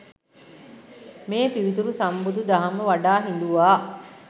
මේ පිවිතුරු සම්බුදු දහම වඩා හිඳුවා